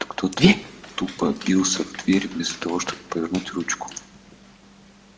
будто кто-то тупо бился в дверь вместо того чтобы повернуть ручку